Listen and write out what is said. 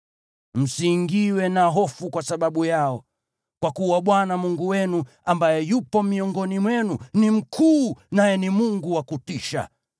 Msiingiwe na hofu kwa sababu yao, kwa kuwa Bwana Mungu wenu, ambaye yupo miongoni mwenu ni mkuu naye ni Mungu wa kutisha.